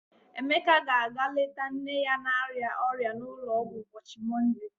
Emeka ga-aga leta nne ya na-arịa ọrịa n'ụlọọgwụ ụbọchị Mọnde.